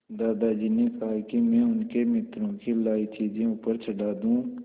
दादाजी ने कहा कि मैं उनके मित्रों की लाई चीज़ें ऊपर चढ़ा दूँ